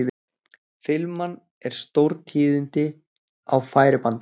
Filman er stórtíðindi á færibandi.